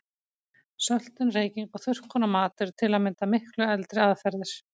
Söltun, reyking og þurrkun á mat eru til að mynda miklu eldri aðferðir.